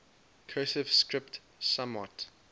cursive script somewhat